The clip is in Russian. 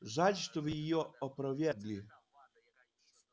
жаль что вы её опровергли